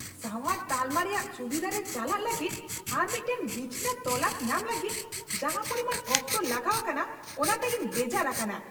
ᱥᱟᱶᱟᱨ ᱛᱟᱞᱢᱟ ᱨᱮᱭᱟᱜ ᱥᱩᱵᱤᱫᱷᱟ ᱨᱮ ᱪᱟᱞᱟᱜ ᱞᱟᱹᱜᱤᱫ ᱟᱨ ᱢᱤᱫᱴᱟᱝ ᱵᱤᱪᱷᱱᱟᱹ ᱛᱚᱞᱟᱥ ᱧᱟᱢ ᱞᱟᱹᱜᱤᱫ ᱡᱟᱦᱟᱸ ᱯᱚᱨᱤᱢᱟᱱ ᱚᱠᱛᱚ ᱞᱟᱜᱟᱣ ᱟᱠᱟᱱᱟ ᱚᱱᱟᱛᱮ ᱤᱧ ᱵᱮᱡᱟᱨ ᱟᱠᱟᱱᱟ ᱾